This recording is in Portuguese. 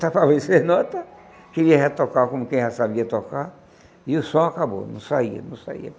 Estava sem nota, queria retocar como quem já sabia tocar, e o som acabou, não saía, não saía.